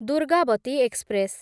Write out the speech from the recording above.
Durgavati express